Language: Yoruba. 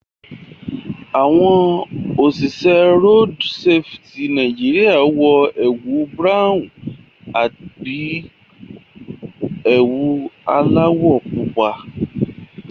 Àwọn òṣìṣẹ́ road safety Nàìjíríà wọ ẹwù Búráhùn àbí ewu alÀwọ̀ pọ́pù